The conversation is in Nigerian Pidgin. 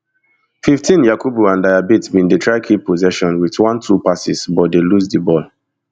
fifteen yakubu and diabate bin dey try keep possession wit one two passes but dey lose di ball